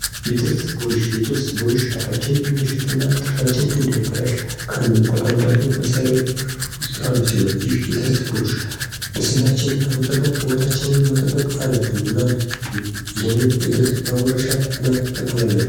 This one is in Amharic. የጥርስ ብሩሽ የጥርስ ብሩሽ አፋችን እንዳይሸት እና ጥርሳችን እንዳይበላሽ ከምንጠቀምባቸው መሳሪያዎች ውስጥ አንዱ ሲሆን የይ የጥርስ ብሩሽ ንጽህናችንን በመጠበቅ ውበታችንን መጠበቅ አለብን እና ይህንን የጥርስ መቦረሻ መጠቀም አለብን።